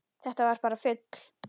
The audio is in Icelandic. Þetta var bara fugl!